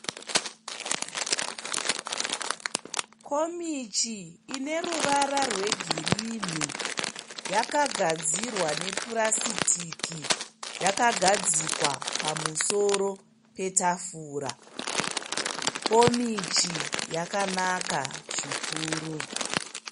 Komichi ine ruvara rwegirinhi. Yakagadzirwa nepurasitiki. Yakagadzikwa pamusoro petafura. Komichi yakanaka zvikuru.